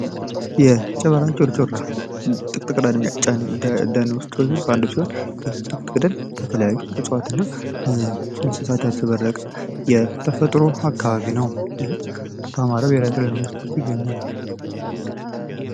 የጨበራ ጮርጮራ ጥቅጥቅ ደን ውስጥ ያለ ሲሆን። ይህ ጥቅጥቅ ደን በተለያዩ እፅዋትና እንሰሳት ያሸበረቀ የተፈጥሮ አካባቢ ነው። ይህም በአማራ ብሄራዊ ክልላዊ መንግስት ውስጥ ይገኛል።